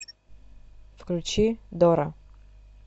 включи дора